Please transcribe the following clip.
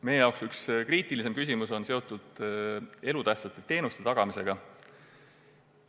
Meie jaoks üks kriitilisemaid küsimusi on seotud elutähtsate teenuste tagamisega.